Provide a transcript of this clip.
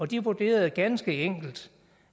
de vurderede ganske enkelt